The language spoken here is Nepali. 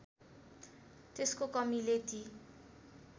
त्यसको कमीले ती